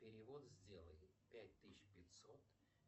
перевод сделай пять тысяч пятьсот